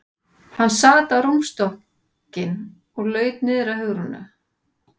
Hann sat á rúmstokkinn og laut niður að Hugrúnu.